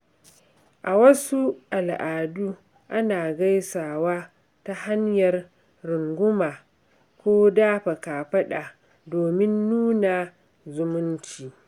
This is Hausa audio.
A wasu al’adu, ana gaisawa ta hanyar runguma ko dafa kafada domin nuna zumunci.